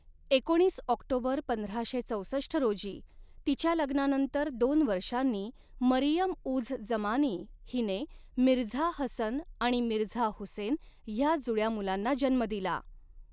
एकोणीस ऑक्टोबर पंधराशे चौसष्ट रोजी, तिच्या लग्नानंतर दोन वर्षांनी, मरियम उझ जमानी हिने मिर्झा हसन आणि मिर्झा हुसेन ह्या जुळ्या मुलांना जन्म दिला.